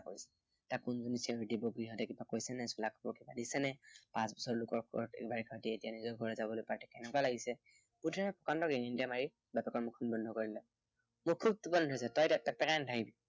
তাৰপিছত লোকৰ ঘৰত গেবাৰি খাটি, এতিয়া নিজৰ ঘৰত যাবলৈ পাই কেনেকুৱা লাগিছে। বুদ্ধিৰামে গঙনি এটা মাৰি বাপেকৰ মুখখন বন্ধ কৰি দিলে। মোৰ খুব টোপনি ধৰিছো, তই এতিয়া পেকপেকাই নাথাকিবি।